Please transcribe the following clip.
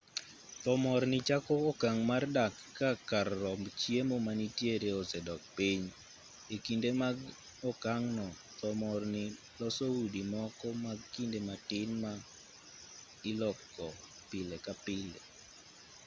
thomorni chako okang' mar dar ka kar romb chiemo manitiere osedok piny e kinde mag okang'no thomorni loso udi moko mag kinde matin ma iloko pile ka pile